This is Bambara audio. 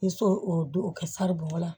N se o don o kɛ sari bɔn la